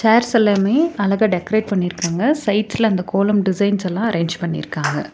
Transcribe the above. Chairs எல்லாமே அழகா decorate பண்ணிருக்காங்க சைட்ஸ்ல அந்த கோலம் டிசைன்ஸ்ஸெல்லா அரேஞ்ச் பண்ணிருக்காங்க.